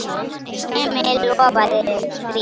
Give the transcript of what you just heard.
Emil lofaði því.